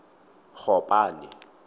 gopane